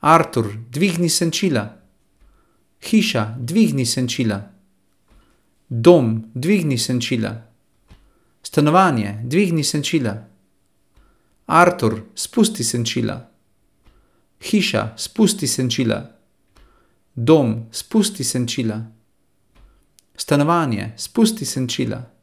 Artur, dvigni senčila. Hiša, dvigni senčila. Dom, dvigni senčila. Stanovanje, dvigni senčila. Artur, spusti senčila. Hiša, spusti senčila. Dom, spusti senčila. Stanovanje, spusti senčila.